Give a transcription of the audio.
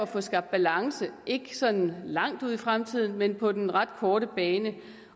få skabt balance ikke sådan langt ude i fremtiden men på den ret korte bane